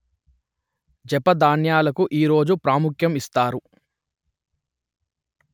జప ధ్యానాలకు ఈ రోజు ప్రాముఖ్యం ఇస్తారు